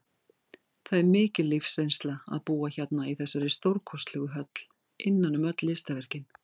Það er mikil lífsreynsla að búa hérna í þessari stórkostlegu höll, innan um öll listaverkin.